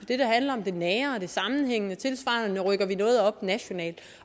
handler om det nære og det sammenhængende tilsvarende rykker vi noget op nationalt